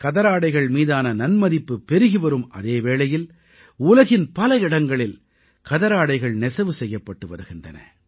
கதராடைகள் மீதான நன்மதிப்பு பெருகிவரும் அதே வேளையில் உலகின் பல இடங்களில் கதராடைகள் நெசவு செய்யப்பட்டு வருகின்றன